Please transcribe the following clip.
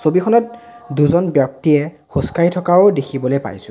ছবিখনত দুজন ব্যক্তিয়ে খোজকাঢ়ি থকাও দেখিবলে পাইছোঁ।